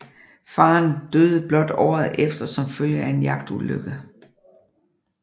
Faderen døde blot året efter som følge af en jagtulykke